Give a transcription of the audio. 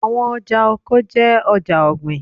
Awọn ọja oko jẹ awọn ọja ogbin